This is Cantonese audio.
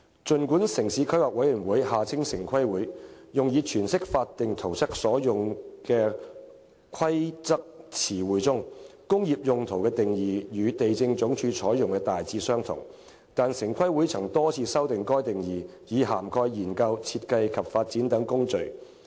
儘管城市規劃委員會用以詮釋法定圖則所用規劃詞彙中，"工業用途"的定義與地政總署採用的大致相同，但城規會曾經多次修訂該定義，以涵蓋研究、設計及發展等工序。